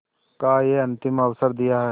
का यह अंतिम अवसर दिया है